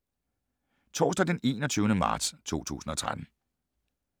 Torsdag d. 21. marts 2013